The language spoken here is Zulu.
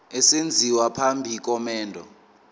esenziwa phambi komendo